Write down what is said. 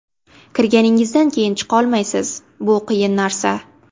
Kirganingizdan keyin chiqolmaysiz, bu qiyin narsa.